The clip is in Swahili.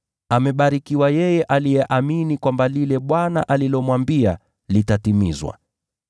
Amebarikiwa yeye aliyeamini kwamba lile Bwana alilomwambia litatimizwa.”